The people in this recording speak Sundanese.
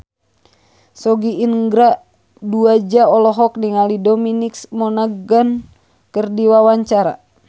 Sogi Indra Duaja olohok ningali Dominic Monaghan keur diwawancara